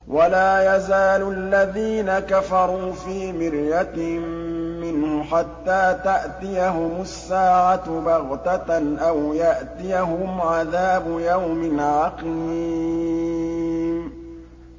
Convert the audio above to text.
وَلَا يَزَالُ الَّذِينَ كَفَرُوا فِي مِرْيَةٍ مِّنْهُ حَتَّىٰ تَأْتِيَهُمُ السَّاعَةُ بَغْتَةً أَوْ يَأْتِيَهُمْ عَذَابُ يَوْمٍ عَقِيمٍ